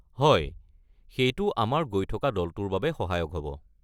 হয়, সেইটো আমাৰ গৈ থকা দলটোৰ বাবে সহায়ক হ'ব।